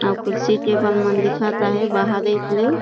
अऊ कुर्सी टेबल मन दिखत हे बाहरे ले--